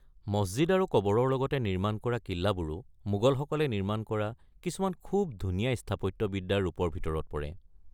মছজিদ আৰু কবৰৰ লগতে নিৰ্মাণ কৰা কিল্লাবোৰো মোগলসকলে নিৰ্মাণ কৰা কিছুমান খুব ধুনীয়া স্থাপত্যবিদ্যাৰ ৰূপৰ ভিতৰত পৰে।